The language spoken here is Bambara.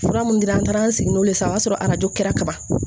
Fura mun dira an taara an sigi n'o le ye sisan o y'a sɔrɔ arajo kɛra kaban